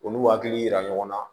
Olu hakili yira ɲɔgɔn na